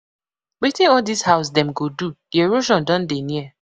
Wetin all dis house dem go do, the erosion Don dey near.